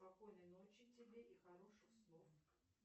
спокойной ночи тебе и хороших снов